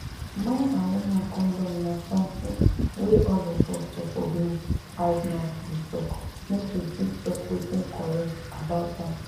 man and woman condom na something wey all of us suppose no hide mouth dey talk make we fit talk wetin correct about am